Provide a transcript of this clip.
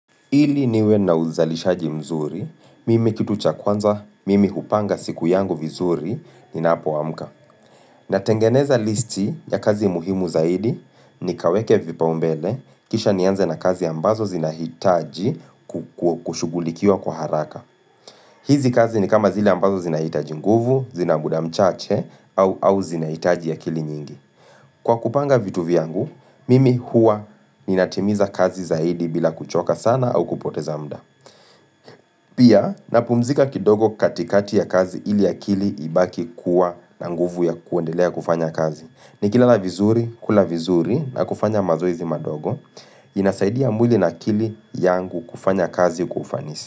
Ili niwe na uzalishaji mzuri, mimi kitu cha kwanza, mimi hupanga siku yangu vizuri ninapoamka. Natengeneza listi ya kazi muhimu zaidi ni kaweke vipaumbele, kisha nianze na kazi ambazo zinahitaji kushugulikia kwa haraka. Hizi kazi ni kama zile ambazo zinahitaji nguvu, zina muda mchache au zinahitaji akili nyingi. Kwa kupanga vitu viyngu, mimi huwa ninatimiza kazi zaidi bila kuchoka sana au kupoteza muda. Pia, napumzika kidogo katikati ya kazi ili akili ibaki kuwa na nguvu ya kuendelea kufanya kazi. Ni kilala vizuri, kula vizuri na kufanya mazoezi madogo. Inasaidia mwili na akili yangu kufanya kazi kwa ufanisi.